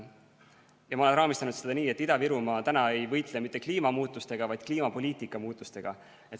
Ja ma olen raamistanud seda nii, et Ida-Virumaa ei võitle mitte kliimamuutustega, vaid kliimapoliitika muutustega.